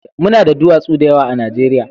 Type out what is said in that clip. Mu na da duwatsu da yawa a Najeriya